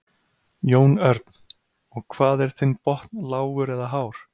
Jón Örn: Og hvað er þinn botn lágur eða hár?